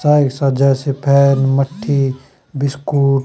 सा ऐसा जैसे फैन मट्ठी बिस्कुट --